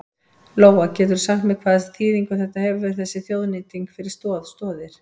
Lóa: Geturðu sagt mér hvaða þýðingu þetta hefur þessi þjóðnýting fyrir Stoð Stoðir?